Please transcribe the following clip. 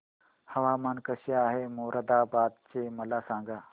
हवामान कसे आहे मोरादाबाद चे मला सांगा